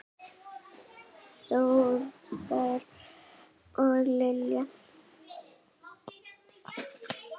Þórður og Lilja.